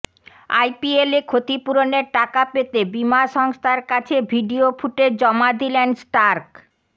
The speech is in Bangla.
আইপিএলে ক্ষতিপূরণের টাকা পেতে বীমা সংস্থার কাছে ভিডিও ফুটেজ জমা দিলেন স্টার্ক